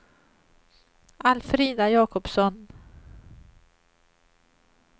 Alfrida Jakobsson